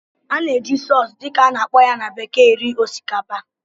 A na-eji "sauce" dị ka a na-akpọ ya na bekee eri osikapa